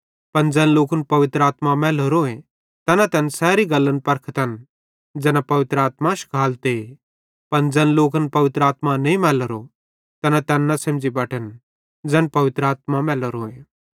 पन ज़ैन लोकन पवित्र आत्मा मैलोरो तैना तैन सैरी गल्लन परखतन ज़ैना पवित्र आत्मा शिखालते पन ज़ैन लोकन पवित्र आत्मा नईं मैलोरो तैना तैन न सेझ़ी बटन ज़ैन पवित्र आत्मा मैलोरोए